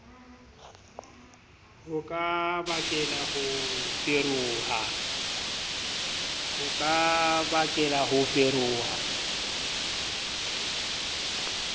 ho ka bakela ho feroha